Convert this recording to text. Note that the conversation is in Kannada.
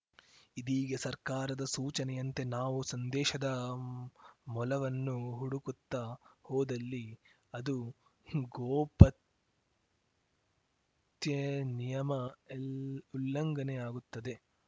ಇದೀಗ ಸರ್ಕಾರದ ಸೂಚನೆಯಂತೆ ನಾವು ಸಂದೇಶದ ಮಲವನ್ನು ಹುಡುಕುತ್ತಾ ಹೋದಲ್ಲಿ ಅದು ಗೋಪತ್ಯೆಯ ನಿಯಮ ಯಲ್ ಉಲ್ಲಂಘನೆಯಾಗುತ್ತದೆ